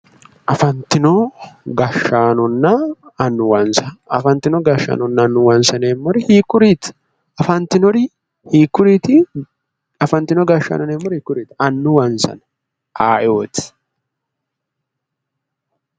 Afantino gashshaanonna annuwansa afantino gashshaaanonna annuwansa yineemmori hiikkuriiti? Afantinori hiikkuriiti? Afantino gashshaano yineemmori hiikkuriiti? Annuwansana aye"oti?